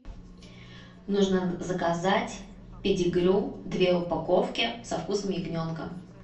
нужно заказать педигрю две упаковки со вкусом ягненка